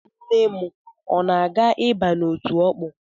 Nne m, o na-aga ịba n’otu Ọkpụ?